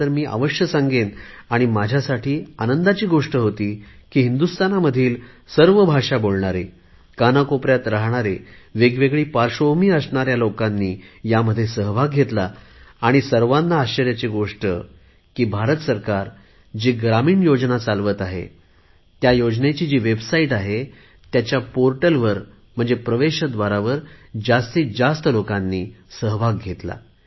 तर मी जरुर सांगेन आणि माझ्यासाठी आनंदाची गोष्ट होती की हिंदुस्थानामधील सर्व भाषा बोलणारे कानाकोपऱ्यात राहणारे वेगवेगळी पार्श्वभूमी असणाऱ्या लोकांनी ह्यामध्ये सहभाग घेतला आणि माझ्यासाठी सर्वात आश्चर्याची गोष्टही आहे की भारत सरकार जी ग्रामीण रोजगार योजना चालवत आहे ह्या योजनेची जी वेबसाईट आहे त्याच्या पोर्टलवर जास्तीत जास्त लोकांनी सहभाग घेतला